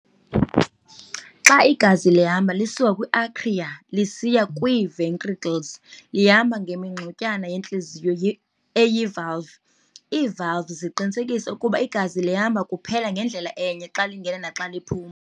Xa igazi lihamba lisuka kwi-atria lisiya kwii-ventricles lihamba ngemingxunyana yentliziyo eyi-valve. Ii-valves ziqinisekisa okokuba igazi lihamba kuphela ngendlela enye xa lingena naxa liphuma.